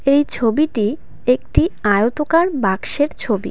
এই ছবিটি একটি আয়তাকার বাক্সের ছবি .